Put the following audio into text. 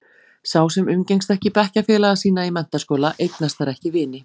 Sá sem umgengst ekki bekkjarfélaga sína í menntaskóla, eignast þar ekki vini.